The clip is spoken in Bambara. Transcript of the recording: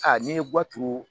A n'i ye guwa turu